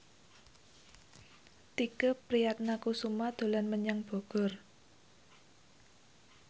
Tike Priatnakusuma dolan menyang Bogor